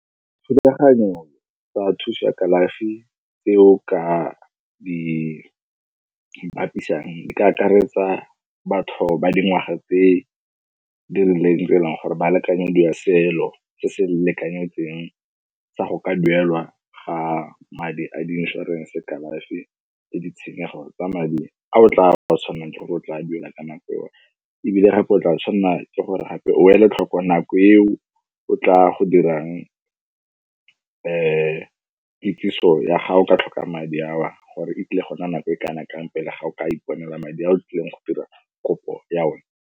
Thulaganyo tsa thusa kalafi tse o ka di bapisang di ka akaretsa batho ba dingwaga tse di rileng tse e leng gore ba lekanyediwa selo se se lekanyetsweng sa go ka duelwa ga madi a di inšorense. Kalafi le ditshenyegelo tsa madi a o tla ba o tshwanelwa ke gore o tla duela ka nako o ebile gape o tla tshwanela ke gore gape o ele tlhoko nako eo o tla go dirang kitsiso ya ga o ka tlhoka madi ao gore e tlile go nna nako e kana kang pele ga o ka iponela madi a o tlileng go dira kopo ya one.